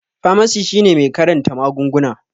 Famasi shine mai karanta magunguna